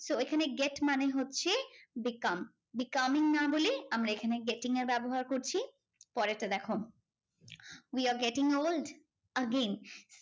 So এখানে get মানে হচ্ছে become. becoming না বলে আমরা এখানে getting এর ব্যবহার করছি। পরেরটা দেখো, we are getting old. again